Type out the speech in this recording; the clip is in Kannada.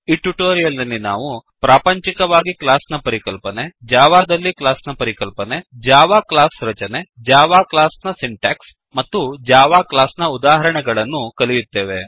ಈ ಟ್ಯುಟೋರಿಯಲ್ ನಲ್ಲಿ ನಾವು ಪ್ರಾಪಂಚಿಕವಾಗಿ ಕ್ಲಾಸ್ ನ ಪರಿಕಲ್ಪನೆ ಜಾವಾದಲ್ಲಿ ಕ್ಲಾಸ್ ನ ಪರಿಕಲ್ಪನೆ ಜಾವಾ ಕ್ಲಾಸ್ ರಚನೆ ಜಾವಾ ಕ್ಲಾಸ್ ನ ಸಿಂಟ್ಯಾಕ್ಸ್ ಮತ್ತು ಜಾವಾ ಕ್ಲಾಸ್ ನ ಉದಾಹರಣೆಗಳನ್ನು ಕಲಿಯುತ್ತೇವೆ